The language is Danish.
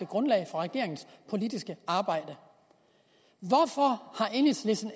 grundlag for regeringens politiske arbejde hvorfor har enhedslisten